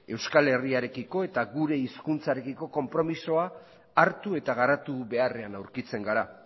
euskal herriarekiko eta gure hizkuntzarekiko konpromisoa hartu eta garatu beharrean aurkitzen gara